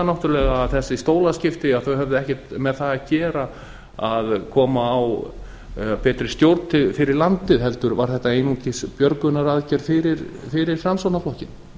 náttúrulega að þessi stólaskipti höfðu ekkert með það að gera að koma á betri stjórn fyrir landið heldur var þetta einungis björgunaraðgerð fyrir framsóknarflokkinn